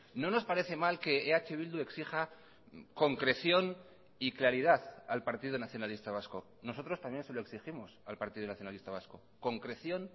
no nos parece mal que eh bildu exija concreción y claridad al partido nacionalista vasco nosotros también se lo exigimos al partido nacionalista vasco concreción